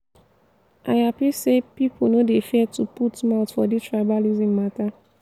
i hapi sey people no dey fear to put mouth for dis tribalism mata.